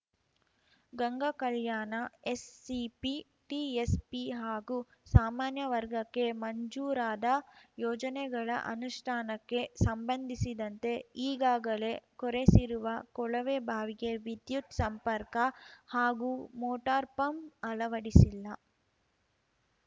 Gangakalyana SCP TSP ಹಾಗೂ ಸಾಮಾನ್ಯ ವರ್ಗಕ್ಕೆ ಮಂಜೂರಾದ ಯೋಜನೆಗಳ ಅನುಷ್ಠಾನಕ್ಕೆ ಸಂಬಂಧಿಸಿದಂತೆ ಈಗಾಗಲೇ ಕೊರೆಸಿರುವ ಕೊಳವೆಬಾವಿಗೆ ವಿದ್ಯುತ್‌ ಸಂಪರ್ಕ ಹಾಗೂ ಮೋಟಾರ್‌ಪಂಪ್‌ ಅಳವಡಿಸಿಲ್ಲ